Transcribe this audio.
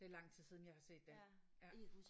Det er lang tid siden jeg har set den ja